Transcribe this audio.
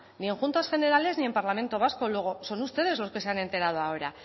ni en juntas generales ni en parlamento vasco luego son ustedes los que se han enterado ahora